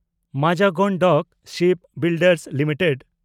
Mazagon dock shipbuilders limited